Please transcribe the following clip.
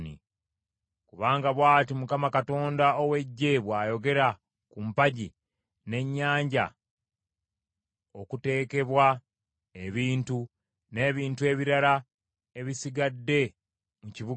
Kubanga bw’ati Mukama Katonda ow’Eggye bw’ayogera ku mpagi, n’Ennyanja, okuteekebwa ebintu, n’ebintu ebirala ebisigadde mu kibuga kino,